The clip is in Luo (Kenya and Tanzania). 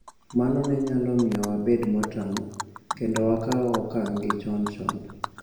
Mano ne nyalo miyo wabed motang ' kendo wakaw okang ' gi chon chon.